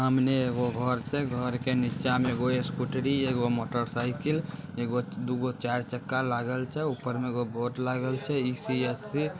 सामने वो घर छे घर के निचा मे एगो स्कूटरी एगो मोटर साइकिल एगो दुगओ चार चका लागल छे ऊपर में एगो बोर्ड लागल छे ई.सी. ए.सी .।